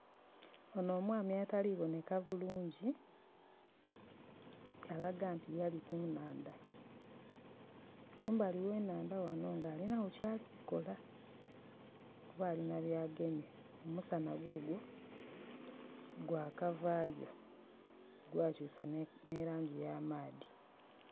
Onho omwami atali kuboneka bulungi alaga nti yali ku nhandha, kumbali w'enhandha ghano nga alinagho kyali kukola kuba alina byagemye, omusanha gugwo gwakavaayo, gwakyusa ni langi ya maadhi.